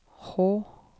H